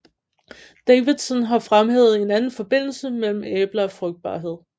Davidson har fremhævet en anden forbindelse mellem æbler og frugtbarhed